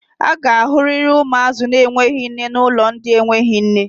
A ga-ahụrịrị ụmụazị na-enweghi nne na ụlọ ndị na-enweghi nne.